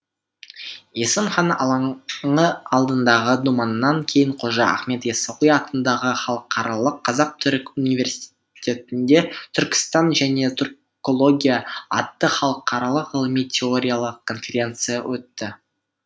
есім хан алаңы алдындағы думаннан кейін қожа ахмет ясауи атындағы халықаралық қазақ түрік университетінде түркістан және түркология атты халықаралық ғылыми теориялық конференция өтті